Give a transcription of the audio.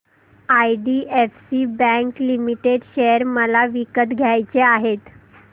IDFC bank limited share मला विकत घ्यायचे आहेत